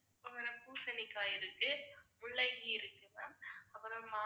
பூசணிக்காய் இருக்கு முள்ளங்கி இருக்கு ma'am அப்புறம்